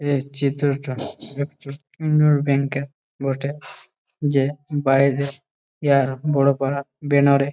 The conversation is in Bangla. এই চিত্রটা একটি উন্দর ব্যাংক -এঁর বটে যে বাইরে প্যার বড় করা ব্যানার -এ ।